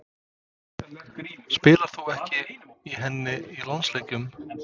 Spilar þú ekki í henni í landsleikjum?